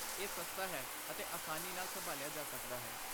ਇਹ ਸਸਤਾ ਹੈ ਅਤੇ ਆਸਾਨੀ ਨਾਲ ਸੰਭਾਲਿਆ ਜਾ ਸਕਦਾ ਹੈ।